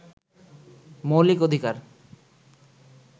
মৌলিক অধিকার